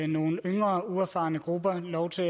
nogle yngre uerfarne grupper lov